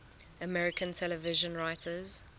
american television writers